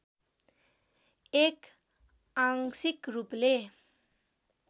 एक आंशिक रूपले